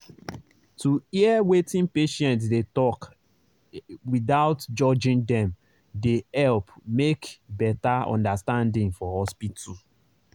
to hear wetin patient dey talk without judging dem dey help make better understanding for hospital.